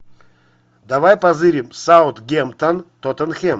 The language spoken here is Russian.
давай позырим саутгемптон тоттенхэм